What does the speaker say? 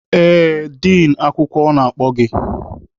Ee, din akwụkwọ na-akpọ gị.